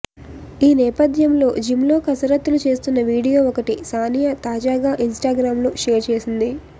ఈ నేపథ్యంలో జిమ్లో కసరత్తులు చేస్తున్న వీడియో ఒకటి సానియా తాజాగా ఇన్స్టాగ్రామ్లో షేర్ చేసింది